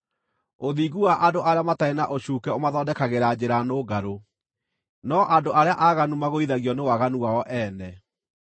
Ũthingu wa andũ arĩa matarĩ na ũcuuke ũmathondekagĩra njĩra nũngarũ, no andũ arĩa aaganu magũithagio nĩ waganu wao ene.